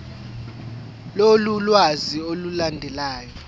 lolu lwazi olulandelayo